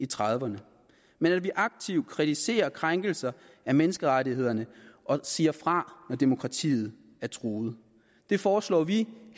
trediverne men at vi aktivt kritiserer krænkelser af menneskerettighederne og siger fra når demokratiet er truet det foreslår vi